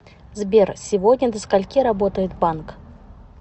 сбер сегодня до скольки работает банк